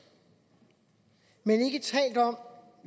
men ikke talt om